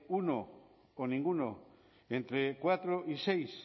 uno o ninguno entre cuatro y seis